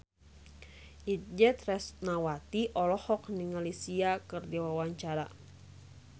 Itje Tresnawati olohok ningali Sia keur diwawancara